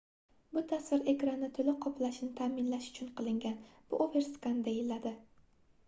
bu tasvir ekranni toʻliq qoplashini taʼminlash uchun qilingan bu overskan deyiladi